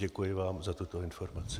Děkuji vám za tuto informaci.